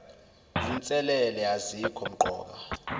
zinselele azikho mqoka